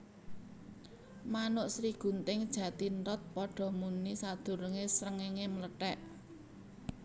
Manuk Srigunting Jathithot padha muni sadurungé srengéngé mlethèk